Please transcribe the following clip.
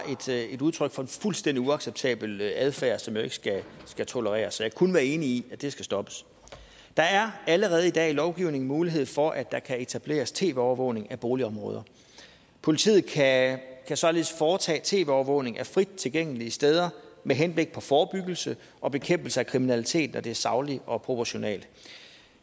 er et udtryk for en fuldstændig uacceptabel adfærd som ikke skal tolereres kan kun være enig i at det skal stoppes der er allerede i dag i lovgivningen mulighed for at der kan etableres tv overvågning af boligområder politiet kan således foretage tv overvågning af frit tilgængelige steder med henblik på forebyggelse og bekæmpelse af kriminalitet når det er sagligt og proportionalt